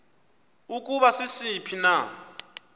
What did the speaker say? ukuba sisiphi na